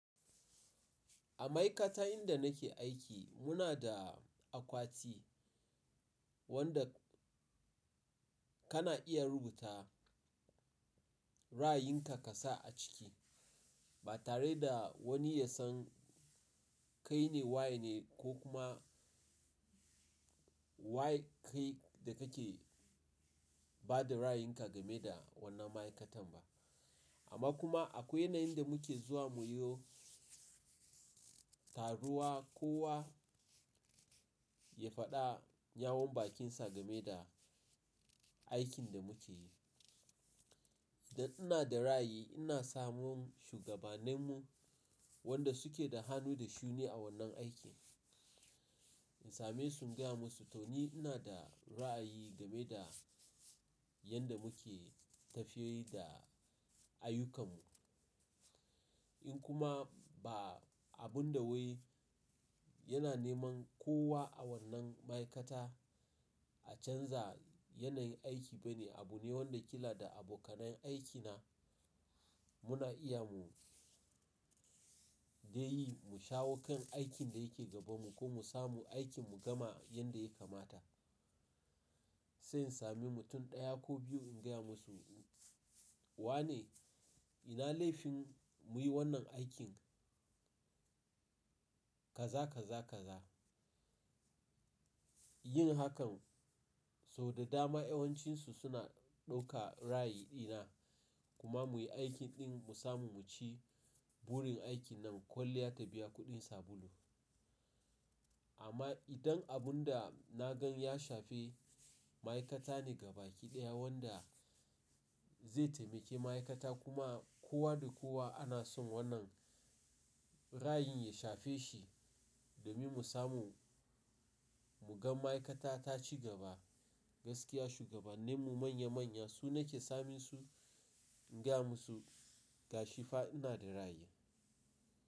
A ma'aikata inda nake aiki muna da akwati wanda kana iya rubuta ra'ayinka ka sa a ciki ba tare da wani ya san kai ne waye ne ko kuma waye kai da kake ba da ra'ayinka game da wannan ma'aikatan ba. Amma kuma akwai yanayin da muke zuwa muyo taruwa kowa ya faɗa yawun bakinsa game da aikin da muke yi. Idan ina da ra'ayi ina samun shugabannin mu wanda suke da hannu da shuni a wannan aikin. In same su in gaya musu toni ina da ra'ayi game da yanda muke tafiye da ayyukanmu. In kuma ba abun da wai yana neman kowa a wannan ma'aikata a canza yanayin aiki ba ne, abu ne wanda kila da abokanan aikina muna iya mu de yi mu shawo kan aikin da yake gaban mu ko mu samu aikin mu gama yanda ya kamata. Sai in sami mutum ɗaya ko biyu in gaya musu, wane ina laifin muyi wannan aikin kaza kaza kaza. Yin hakan sau da dama yawancinsu suna ɗauka ra'ayi ɗina kuma muyi aikin ɗin mu samu mu ci burin aikin nan kwalliya ta biya kuɗin sabulu. Amma idan abun da na gan ya shafe ma'aikata ne gaba ɗaya wanda zai taimake ma'aikata kuma kowa da kowa ana son wannan ra'ayin ya shafe shi domin mu samu mu gan ma'aikata ta ci gaba gaskiya shugabanen mu manya manya su na ke samun su, in gaya musu gashi fa ina da ra'ayi.